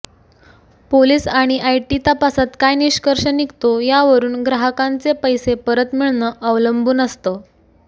police आणि IT तपासात काय निष्कर्ष निघतो यावरून ग्राहकांचे पैसे परत मिळणं अवलंबून असतं